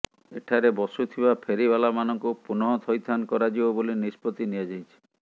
ଏଠାରେ ବସୁଥିବା ଫେରିବାଲାମାନଙ୍କୁ ପୁନଃ ଥଇଥାନ କରାଯିବ ବୋଲି ନିଷ୍ପତ୍ତି ନିଆଯାଇଛି